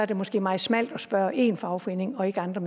det måske meget smalt at spørge én fagforening og ikke andre